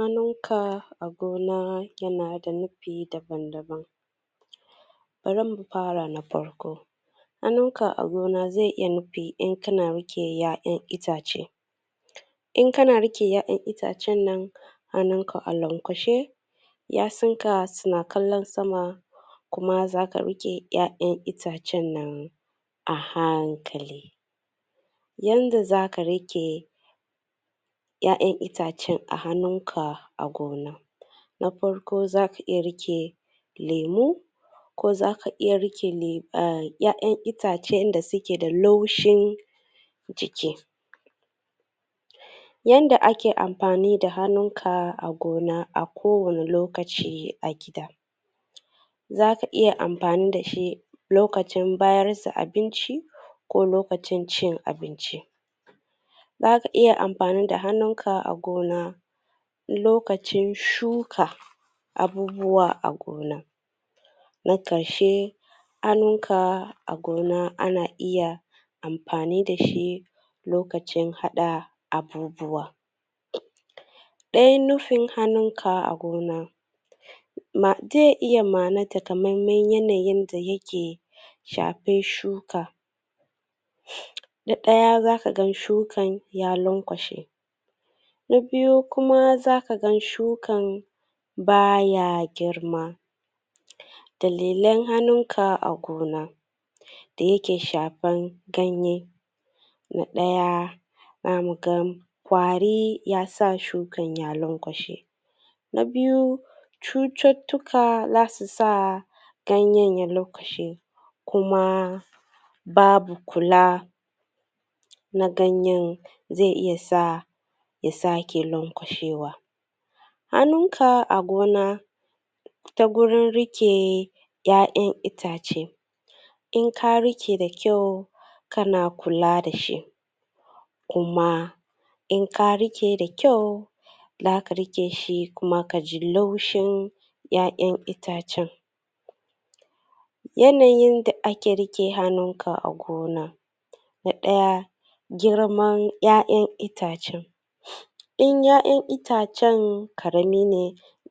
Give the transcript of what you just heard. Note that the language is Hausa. Hannun ka a gona yana da nufi daban daban bari mu fara na farko hannun ka a gona zai iya nufi in kana rike 'ya'yan itace in kana rike 'ya'yan tacen nan hannun ka a lanƙwanshe ƴa'sun ka suna kallan sama kuma zaka rike 'ya'yan itacen nan a hankali yanda zaka rike 'yan'yan itacen a hannun ka a gona na farko zaka iya rike lemu ko zaka iya rike 'ya'yan itacen inda suke da laushin jiki yanda ake amfani da hannun ka a gona a kowanne lokaci a gida zaka iya amfani dashi lokacin bayar da abinci ko lokacin cin abinci zaka iya amfani da hannun ka a gona lokacin shuka abubuwa a gona na ƙarshe hannun ka a gona ana iya amfani dashi lakacin haɗa abubuwa ɗayn nufin hannun ka a gona ze iya ma'ana ta kam yanayin da yake shafe shuka na ɗaya zaka ga shukan ya lanƙwashe na biyu kuma zaka ga shukan baya girma dalilan hannun ka a gona da yake shafen ganye na ɗaya za mu ga ƙwari yasa shukan ya lanƙwashe na biyu cututtuka zasu sa ganyen ya lanƙwashe kuma babu kula na ganyen zai iya sa ya sake lanƙwashewa hannunka a gona ta gurin rike 'ya'yan itace in ka rike da kyau kana kula dashi kuma in ka rike da kyau zaka rike shi kuma ka ji laushin 'ya'yan itacen yanayin da ake rike hannun ka a gona na ɗaya girman 'ya'yan itacen in 'ya'yan itacen karami ne